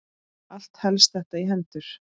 Allt helst þetta í hendur.